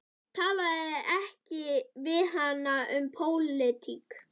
Talaðu ekki við hana um pólitík.